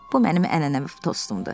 Bu mənim ənənəvi tostundu.